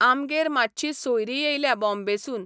आमगेर मातशीं सोयरीं येल्या बॉम्बेसून.